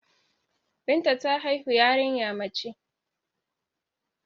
Binta ta haihu yariya mace